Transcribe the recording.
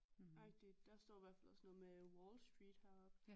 Agtig der står i hvert fald også noget med Wall Street heroppe